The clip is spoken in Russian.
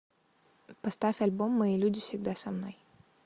поставь альбом мои люди всегда со мной